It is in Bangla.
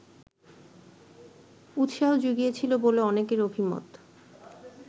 উৎসাহ জুগিয়েছিল বলে অনেকের অভিমত